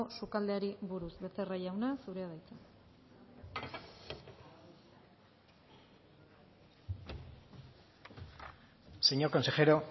sukaldeari buruz becerra jauna zurea da hitza señor consejero